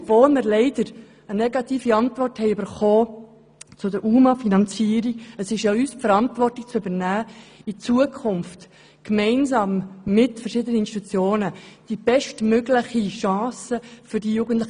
Obwohl wir leider eine negative Antwort zur UMA-Finanzierung erhalten haben, ist es an uns, die Verantwortung zu übernehmen, um diesen Jugendlichen gemeinsam mit verschiedenen Institutionen die bestmögliche Chance für die Zukunft zu geben.